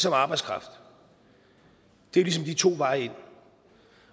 arbejdskraft det er ligesom de to veje ind